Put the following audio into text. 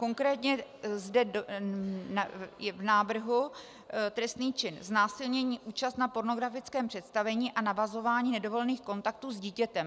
Konkrétně zde je v návrhu trestný čin znásilnění, účast na pornografickém představení a navazování nedovolených kontaktů s dítětem.